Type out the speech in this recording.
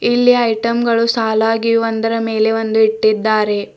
ಇಲ್ಲಿ ಐಟಮ್ ಗಳು ಸಲಾಗಿ ಒಂದರ ಮೇಲೆ ಒಂದು ಇಟ್ಟಿದ್ದಾರೆ.